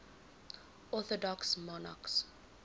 orthodox monarchs